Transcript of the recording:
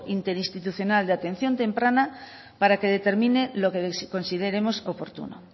interinstitucional de atención temprana para que determine lo que consideremos oportuno